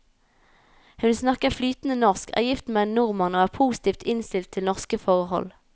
Hun snakker flytende norsk, er gift med en nordmann og er positivt innstilt til norske forhold.